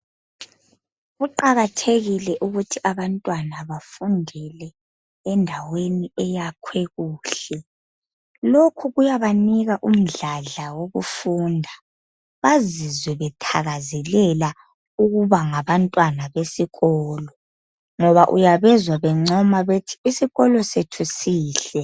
Kuqakathekile ukuthi abantwana bafundele endaweni eyakhwe kuhle lokhu kuyaba Nika umdladla wokufunda bazizwe bethakazelela ukuba ngabantwana besikolo ngoba uyabezwa bencoma bethi isikolo sethi sihle